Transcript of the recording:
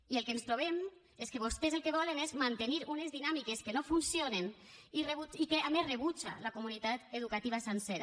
i el que ens trobem és que vostès el que volen és mantenir unes dinàmiques que no funcionen i que a més rebutja la comunitat educativa sencera